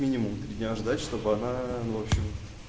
минимум три дня ждать чтобы она ну в общем